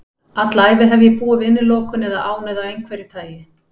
Alla ævi hef ég búið við innilokun eða ánauð af einhverju tagi.